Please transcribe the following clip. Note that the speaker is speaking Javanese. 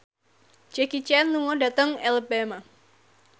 Jackie Chan lunga dhateng Alabama